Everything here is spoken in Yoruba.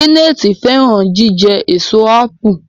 Janet fẹràn jíjẹ Èso ápù